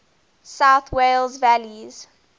south wales valleys